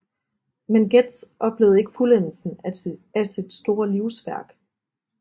Men Getz oplevede ikke fuldendelsen af sit store livsværk